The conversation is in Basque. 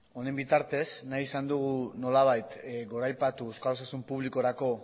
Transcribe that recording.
honen bitartez nahi izan dugu nolabait goraipatu euskal osasun publikorako